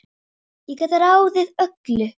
Hver laug þessu að þér?